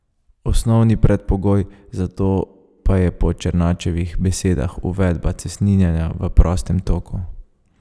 Osnovni predpogoj za to pa je po Černačevih besedah uvedba cestninjenja v prostem toku.